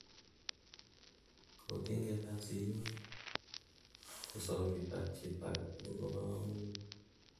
kou tinget ab siyook, ko sautit ab chito agetugul kobo kamanut